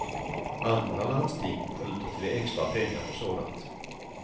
Andra landsting skjuter till extra pengar för sådant.